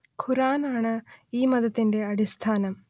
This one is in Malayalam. ഖുർആൻ ആണ് ഈ മതത്തിന്റെ അടിസ്ഥാനം